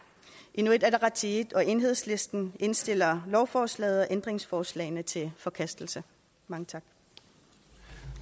inuit ataqatigiit og enhedslisten indstiller lovforslaget og ændringsforslagene til forkastelse mange tak